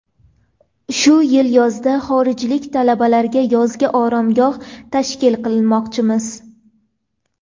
Shu yil yozda xorijlik talabalarga yozgi oromgoh tashkil qilmoqchimiz.